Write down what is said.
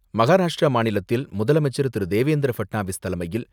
மகாராஷ்டிரா மாநிலத்தில் முதலமைச்சர் திரு.தேவேந்திர பட்னாவிஸ் தலைமையில்,